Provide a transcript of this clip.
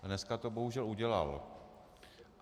Dneska to bohužel udělal.